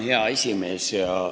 Hea aseesimees!